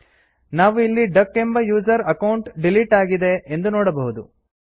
ನಾವು ಇಲ್ಲಿ ಡಕ್ ಎಂಬ ಯೂಸರ್ ಅಕೌಂಟ್ ಡಿಲೀಟ್ ಆಗಿದೆ ಎಂದು ನೋಡಬಹುದು